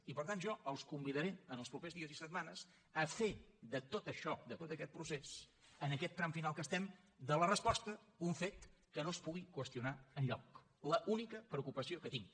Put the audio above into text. i per tant jo els convidaré en els propers dies i setmanes a fer de tot això de tot aquest procés en aquest tram final que estem de la resposta un fet que no es pugui qüestionar enlloc l’única preocupació que tinc